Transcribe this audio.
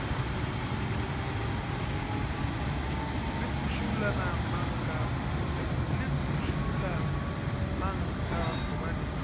le phušula mang ka gobane